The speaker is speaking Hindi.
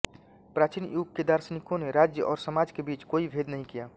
प्राचीन युग के दार्शनिकों ने राज्य और समाज के बीच कोई भेद नहीं किया